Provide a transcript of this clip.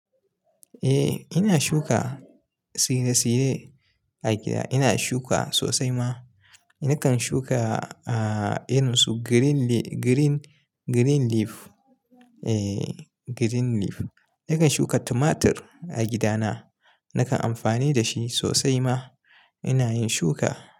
Eh ina shuka tsire-tsire a gida, ina shuka sosai ma. Nakan shuka aaah irin su green le-- green, green leaf. Eeh green leaf. Nakan shuka tumatur a gidana, nakan amfani da shi sosai ma. Ina yin shuka.